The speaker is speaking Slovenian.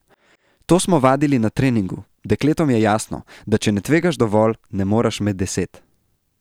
To smo vadili na treningu, dekletom je jasno, da če ne tvegaš dovolj, ne moreš med deset.